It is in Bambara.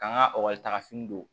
K'an ka taga fini don